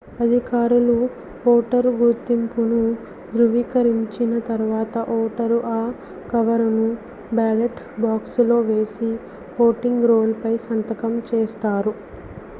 అధికారులు ఓటరు గుర్తింపును ధ్రువీకరించిన తర్వాత ఓటరు ఆ కవరును బ్యాలెట్ బాక్సులో వేసి ఓటింగ్ రోల్ పై సంతకం చేస్తారు